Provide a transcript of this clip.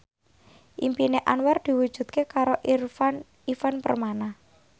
impine Anwar diwujudke karo Ivan Permana